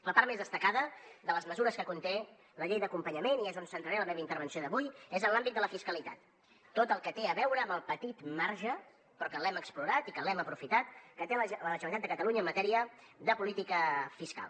la part més destacada de les mesures que conté la llei d’acompanyament i és on centraré la meva intervenció d’avui és en l’àmbit de la fiscalitat tot el que té a veure amb el petit marge però que l’hem explorat i que l’hem aprofitat que té la generalitat de catalunya en matèria de política fiscal